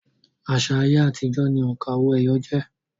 Àṣà ayé àtijọ́ ni òǹkà owó-ẹyọ jẹ́